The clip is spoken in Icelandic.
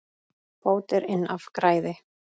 Bót er inn af græði.